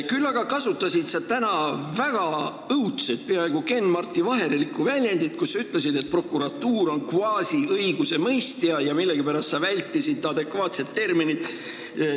Küll aga kasutasid sa täna väga õudset, peaaegu kenmartivaherlikku väljendit: sa ütlesid, et prokuratuur on kvaasiõigusemõistja, ja millegipärast vältisid adekvaatset terminit.